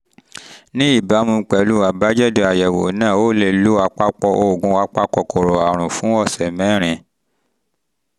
ní ìbámu pẹ̀lú àbájáde àyẹ̀wò náà o lè lo àpapọ̀ oògùn apakòkòrò àrùn fún ọ̀sẹ̀ mẹ́rin